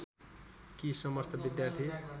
कि समस्त विद्यार्थी